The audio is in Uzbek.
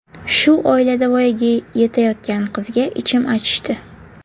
Shu oilada voyaga yetayotgan qizga ichim achishdi.